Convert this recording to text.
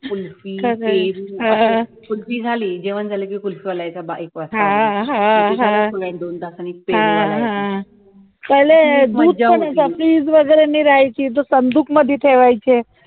kulfi , पेरू kulfi झाली जेवण झाला कि kulfi वाला येयचा एक वाजता पुन्हा येईन दोन तासांनी पेरू वाला येयचा,